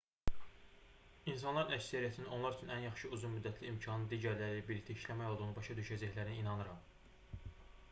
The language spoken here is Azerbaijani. i̇nsanların əksəriyyətinin onlar üçün ən yaxşı uzun-müddətli imkanın digərləri ilə birlikdə işləmək olduğunu başa düşəcəklərinə inanıram